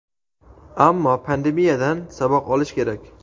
ammo pandemiyadan saboq olish kerak.